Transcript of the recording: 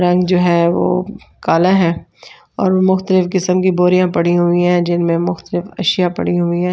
रंग जो है वो काला है और मुख़्तलिफ़ किस्म की बोरियाँ पड़ी हुई हैं जिनमें मुख़्तलिफ़ असिया पड़ी हुई हैं।